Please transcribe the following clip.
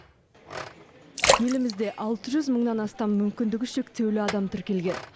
елімізде алты жүз мыңнан астам мүмкіндігі шектеулі адам тіркелген